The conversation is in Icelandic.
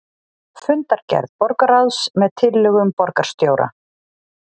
Fundargerð borgarráðs með tillögum borgarstjóra